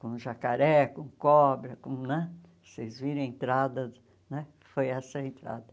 com jacaré, com cobra, com né vocês viram a entrada, né que foi essa a entrada.